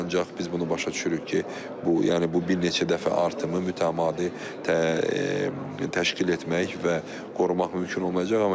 Ancaq biz bunu başa düşürük ki, bu, yəni bu bir neçə dəfə artımı mütəmadi təşkil etmək və qorumaq mümkün olmayacaq.